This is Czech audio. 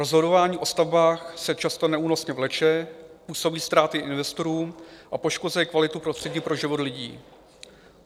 "Rozhodování o stavbách se často neúnosně vleče, působí ztráty investorům a poškozuje kvalitu prostředí pro život lidí.